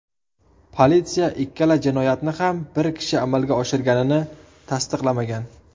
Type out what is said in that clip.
Politsiya ikkala jinoyatni ham bir kishi amalga oshirganini tasdiqlamagan.